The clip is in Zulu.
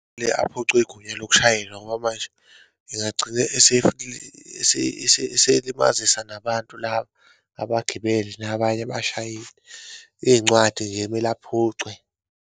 Kumele aphucwe igunya lokushayela ngoba manje engagcina eselimazisa nabantu laba, abagibeli, nabanye abashayeli. Iyincwadi nje kumele aphucwe.